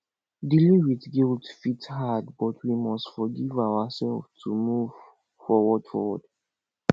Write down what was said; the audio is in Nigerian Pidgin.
dealing with guilt fit hard but we must forgive ourselves to move forward forward